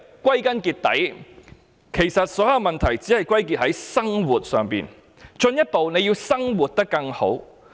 歸根結底，其實所有問題只在於"生活"，進一步便是要"生活得更好"。